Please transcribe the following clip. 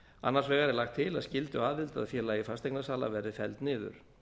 annars vegar er lagt til að skylduaðild að félagi fasteignasala verði felld niður